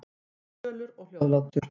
Hann var fölur og hljóðlátur.